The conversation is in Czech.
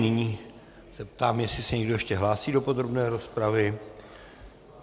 Nyní se ptám, jestli se někdo ještě hlásí do podrobné rozpravy.